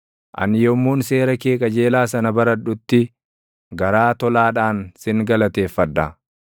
Ani yommuun seera kee qajeelaa sana baradhutti, garaa tolaadhaan sin galateeffadha.